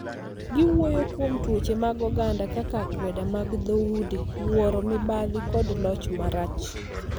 Giwuoyo kuom tuoche mag oganda kaka akweda mag dhoudi, wuoro, mibadhi kod loch marach.